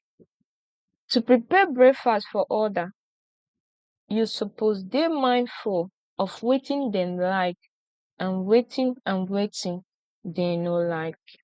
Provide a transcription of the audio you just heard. to prepare breakfast for other you suppose de mindful of wetin dem like and wetin and wetin dem no like